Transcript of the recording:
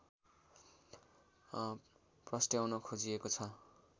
प्रस्ट्याउन खोजिएको छ